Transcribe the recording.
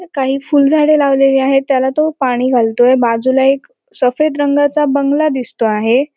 कही फूल झाडे लावलेली आहेत त्याला तो पाणी घालतोय बाजूला एक सफेद रंगाचा बंगला दिसतो आहे.